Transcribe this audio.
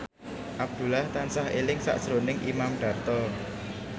Abdullah tansah eling sakjroning Imam Darto